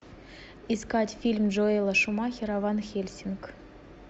искать фильм джоэла шумахера ван хельсинг